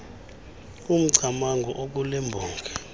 umcamango okule mbongi